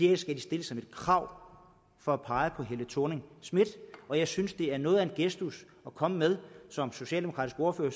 her skal de stille som et krav for at pege på helle thorning schmidt og jeg synes det er noget af en gestus at komme med som socialdemokratisk ordfører